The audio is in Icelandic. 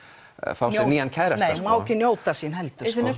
fá sér nýjan kærasta hún má ekki njóta sín heldur